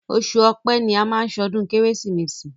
Oṣù ọpẹ́ ni a má ń ṣọdún kérésìmesì.